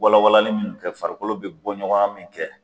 Walawalali min kɛ farikolo bɛ bɔ ɲɔgɔnya min kɛ.